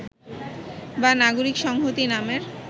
বা নাগরিক সংহতি নামের